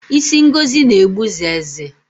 Ịsị Ngozi na-egbu zeze